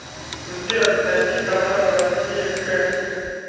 сбер найди каналы россия к